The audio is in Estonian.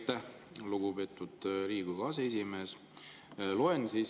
Aitäh, lugupeetud Riigikogu aseesimees!